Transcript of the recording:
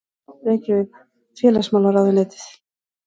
Reykjavík: Félagsmálaráðuneytið.